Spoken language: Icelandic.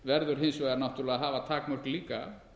verður hins vegar náttúrlega að hafa takmörk líka